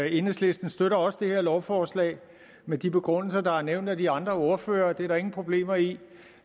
enhedslisten støtter også det her lovforslag med de begrundelser der er nævnt af de andre ordførere det er der ingen problemer i